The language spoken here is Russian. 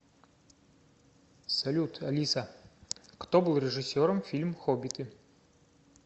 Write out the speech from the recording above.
салют алиса кто был режиссером фильм хоббиты